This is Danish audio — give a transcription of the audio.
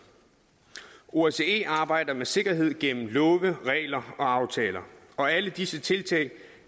osce arbejder med sikkerhed gennem love regler og aftaler og alle disse tiltag